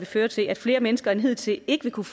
føre til at flere mennesker end hidtil ikke vil kunne